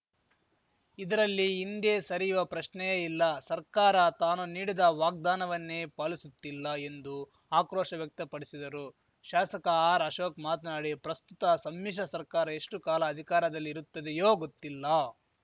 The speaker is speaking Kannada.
ಇದರಲ್ಲಿ ಹಿಂದೆ ಸರಿಯುವ ಪ್ರಶ್ನೆಯೇ ಇಲ್ಲ ಸರ್ಕಾರ ತಾನು ನೀಡಿದ ವಾಗ್ದಾನವನ್ನೇ ಪಾಲಿಸುತ್ತಿಲ್ಲ ಎಂದು ಆಕ್ರೋಶ ವ್ಯಕ್ತಪಡಿಸಿದರು ಶಾಸಕ ಆರ್‌ ಅಶೋಕ್‌ ಮಾತನಾಡಿ ಪ್ರಸ್ತುತ ಸಮ್ಮಿಶ್ರ ಸರ್ಕಾರ ಎಷ್ಟುಕಾಲ ಅಧಿಕಾರದಲ್ಲಿ ಇರುತ್ತದೆಯೋ ಗೊತ್ತಿಲ್ಲ